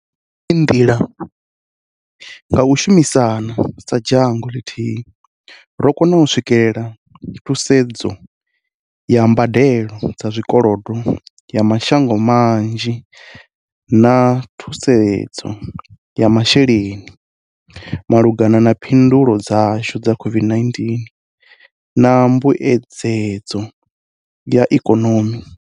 Nga iyi nḓila, nga u shumisana sa dzhango ḽithihi, ro kona u swikelela thusedzo ya mbadelo dza zwikolodo ya mashango manzhi na thusedzo ya mashele-ni malugana na phindulo dzashu kha COVID-19 na mbuedzedzo ya ikonomi.